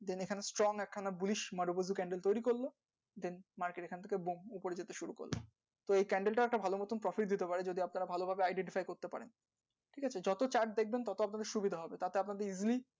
এটা strong এক সময় বেশ strongcandle টা ভালো মতো costly পরের বছর ঠিক আছে যত তার মধ্যে